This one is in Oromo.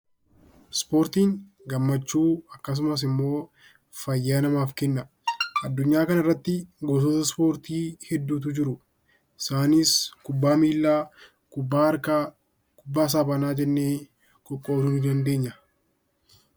Ispoortiin gammachuu akkasumas immoo fayyaa namaaf kenna. Adunyaa kana irratti gosoota ispoortii hedduutu jiru. Isaanis kubbaa miilaa, kubbaa harkaa, kubbaa saaphanaa jennee qoqqoodui dandeenya.